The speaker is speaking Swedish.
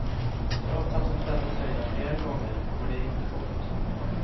Trots att hon tvättat tröjan flera gånger går de inte bort.